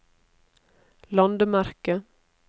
landemerke